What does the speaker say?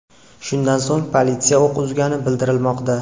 Shundan so‘ng politsiya o‘q uzgani bildirilmoqda.